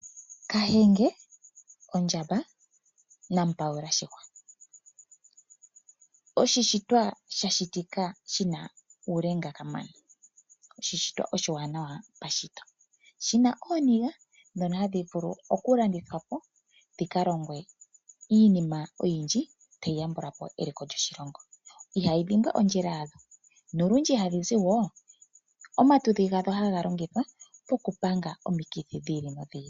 Kahenge ondjamba mpaula shihwa. Oshishitwa sha shitika shi na uulenga kamana. Oshishitwa oshiwanana pashito. Shi na ooniga ndhono ha dhi vulu okulandithwa po dhi ka longwe iinima oyindji tayi yambula po eliko lyoshilongo, ihayi dhimbwa ondjila yawo. Omatudhi gawo ohaga longithwa oku panga omikithi dhi ili nodhi ili.